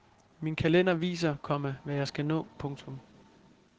Min kalender viser, komma hvad jeg skal nå. punktum